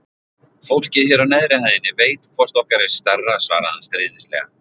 Fólkið hér á neðri hæðinni veit hvort okkar er stærra svaraði hann stríðnislega.